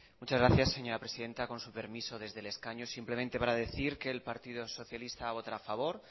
muchas gracias señora presidenta con su permiso desde el escaño simplemente para decir que el partido socialista votará a favor